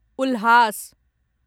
उल्हास